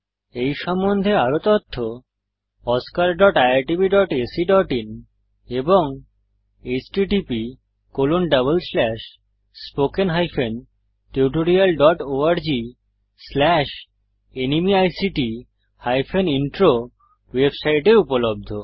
এই সম্বন্ধে আরও তথ্য oscariitbacআইএন এবং httpspoken tutorialorgNMEICT Intro ওয়েবসাইটে উপলব্ধ